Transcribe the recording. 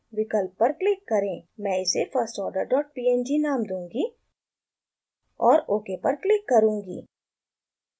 मैं इसे firstorderpng नाम दूँगी और ok पर क्लिक करुँगी